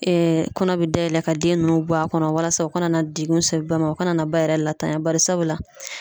kɔnɔ bɛ dayɛlɛ ka den ninnu bɔ a kɔnɔ walasa u kana na degun se ba ma o kana na ba yɛrɛ latanya barisabula